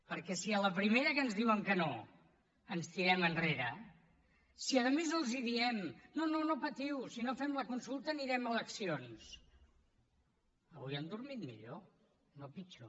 perquè si a la primera que ens diuen que no ens tirem enrere si a més els diem no no patiu si no fem la consulta anirem a eleccions avui han dormit millor no pitjor